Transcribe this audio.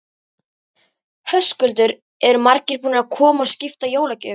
Höskuldur: Eru margir búnir að koma og skipta jólagjöfum?